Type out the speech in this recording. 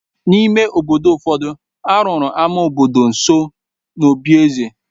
N’ime obodo ụfọdụ, a rụrụ ámá obodo nso n’obí eze.